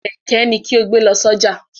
Kẹ̀kẹ́ ni kí o gbé lọ sójà!